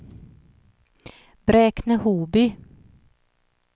Bräkne-Hoby